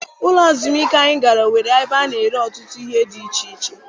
Ụlọ ezumike anyị gara nwere ebe a na-ere ọtụtụ ihe dị iche iche.